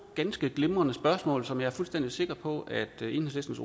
ganske glimrende spørgsmål som jeg er fuldstændig sikker på at enhedslistens